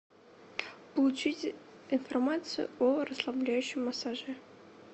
получить информацию о расслабляющем массаже